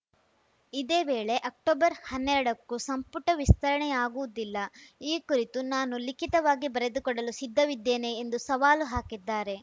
ಇದೇ ವೇಳೆ ಅಕ್ಟೊಬರ್ ಹನ್ನೆರಡಕ್ಕೂ ಸಂಪುಟ ವಿಸ್ತರಣೆಯಾಗುವುದಿಲ್ಲ ಈ ಕುರಿತು ನಾನು ಲಿಖಿತವಾಗಿ ಬರೆದುಕೊಡಲು ಸಿದ್ಧವಿದ್ದೇನೆ ಎಂದು ಸವಾಲು ಹಾಕಿದ್ದಾರೆ